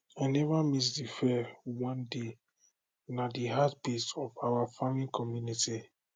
i never miss de fair one day na de heartbeat of our farming community